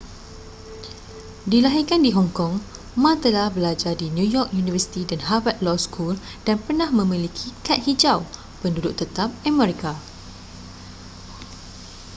dilahirkan di hong kong ma telah belajar di new york university dan harvard law school dan pernah memiliki kad hijau penduduk tetap amerika